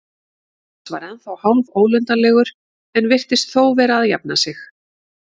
Bóas var ennþá hálfólundarlegur en virtist þó vera að jafna sig.